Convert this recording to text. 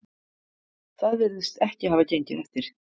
Það virðist ekki hafa gengið eftir